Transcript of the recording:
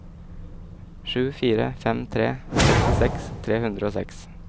sju fire fem tre sekstiseks tre hundre og seks